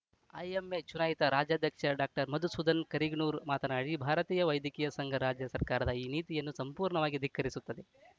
IMH ಚುನಾಯಿತ ರಾಜ್ಯಾಧ್ಯಕ್ಷ doctor Madhusudhan Kariganur ಮಾತನಾಡಿ ಭಾರತೀಯ ವೈದ್ಯಕೀಯ ಸಂಘ ರಾಜ್ಯ ಸರ್ಕಾರದ ಈ ನೀತಿಯನ್ನು ಸಂಪೂರ್ಣವಾಗಿ ಧಿಕ್ಕರಿಸುತ್ತದೆ